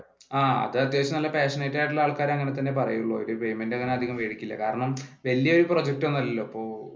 ആഹ് അത്യാവശ്യം നല്ല passionate ആയിട്ടുളള ആൾക്കാർ അങ്ങനെ തന്നെ പറയുള്ളു അവർ payment അങ്ങനെ അതികം മേടിക്കില്ല കാരണം വല്യ ഒരു പ്രൊജക്റ്റ് ഒന്നും അല്ലലോ, ഇപ്പൊ